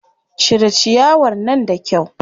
Cire ciyawar nan da kyau.